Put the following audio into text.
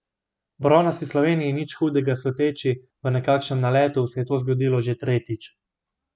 Bronasti Sloveniji, nič hudega sluteči v nekakšnem naletu, se je to zgodilo že tretjič.